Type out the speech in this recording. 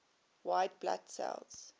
white blood cells